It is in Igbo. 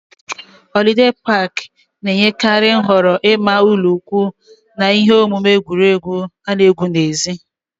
Họlidee pak na-enyekarị nhọrọ ịma ụlọikwuu na ihe omume egwuregwu ana égwu n'èzí